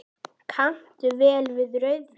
Kanntu vel við rauðvín?